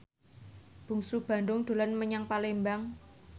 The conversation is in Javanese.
Bungsu Bandung dolan menyang Palembang